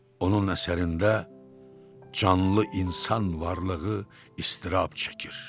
Onun əsərində canlı insan varlığı iztirab çəkir.